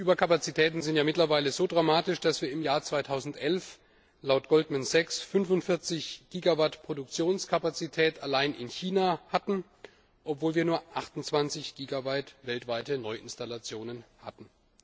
Die Überkapazitäten sind mittlerweile so dramatisch, dass wir im Jahr 2011 laut Goldman Sachs 45 Gigawatt Produktionskapazität allein in China hatten, obwohl wir nur 28 Gigawatt weltweite Neuinstallationen hatten.